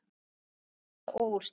Staða og úrslit